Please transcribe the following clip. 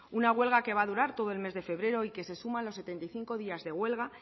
una huelga que va a durar todo el mes de febrero y que se suma a los setenta y cinco días de huelga